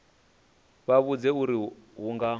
vha vhudze uri hu nga